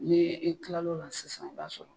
N'i i kil'o la sisan i b'a sɔrɔ